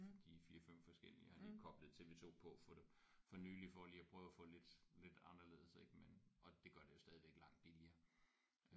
For de 4 5 forskellige jeg har lige koblet TV2 på for for nylig for lige at prøve få lidt lidt anderledes ik men og det gør det jo stadigvæk langt billigere